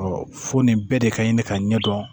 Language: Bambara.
fo nin bɛɛ de ka ɲi ɲini ka ɲɛdɔn